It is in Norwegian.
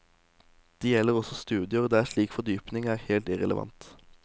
Det gjelder også studier der slik fordypning er helt irrelevant.